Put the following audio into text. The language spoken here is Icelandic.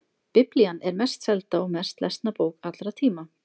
Biblían er mest selda og mest lesna bók allra tíma.